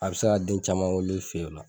A bɛ se ka den caman wolo i fɛ o la.